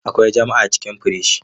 Akwai jam a cikin firij.